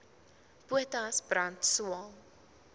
potas brand swael